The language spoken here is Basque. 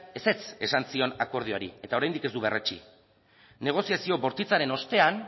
ezetz esan zion akordioari eta oraindik ez du berretsi negoziazio bortitzaren ostean